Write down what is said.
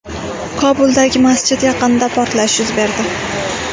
Kobuldagi masjid yaqinida portlash yuz berdi.